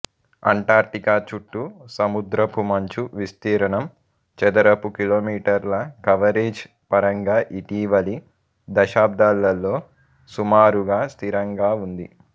Antarctica చుట్టూ సముద్రపు మంచు విస్తీర్ణం చదరపు కిలోమీటర్ల కవరేజ్ పరంగా ఇటీవలి దశాబ్దాలలో సుమారుగా స్థిరంగా ఉంది